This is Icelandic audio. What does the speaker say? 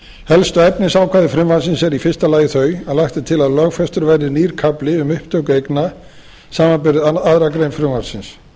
helstu efnisákvæði frumvarpsins eru í fyrsta lagi þau að lagt er til að lögfestur verði nýr kafli um upptöku eigna samanber aðra grein frumvarpsins